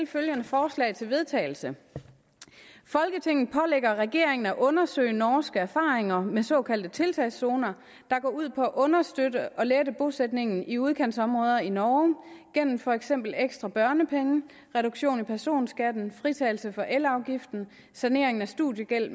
følgende forslag til vedtagelse folketinget pålægger regeringen at undersøge norske erfaringer med såkaldte tiltagszoner der går ud på at understøtte og lette bosætningen i udkantsområder i norge gennem for eksempel ekstra børnepenge reduktion i personskatten fritagelse for elafgiften sanering af studiegæld